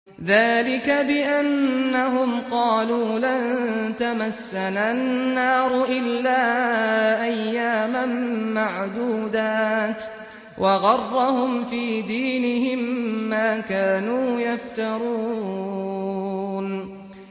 ذَٰلِكَ بِأَنَّهُمْ قَالُوا لَن تَمَسَّنَا النَّارُ إِلَّا أَيَّامًا مَّعْدُودَاتٍ ۖ وَغَرَّهُمْ فِي دِينِهِم مَّا كَانُوا يَفْتَرُونَ